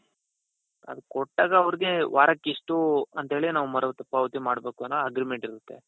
ಅದು ಕೊಟ್ಟಾಗ ಅವರಿಗೆ ವಾರಕ್ಕೆ ಇಷ್ಟು ಅಂತೇಳಿ ನಾವು ಮರು ಪಾವತಿ ಮಾಡ ಬೇಕು ಅನ್ನೋ agreement ಇರುತ್ತೆ.